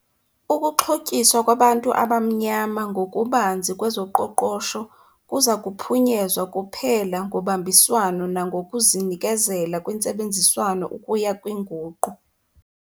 Ukuxhotyiswa kwabantu abamnyama ngokubanzi kwezoqoqosho kuza kuphunyezwa kuphela ngobambiswano nangokuzinikela kwintsebenziswano ukuya kwinguqu.